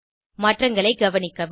மாற்றங்களை கவனிக்கவும்